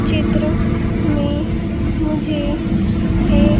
चित्र में मुझे एक --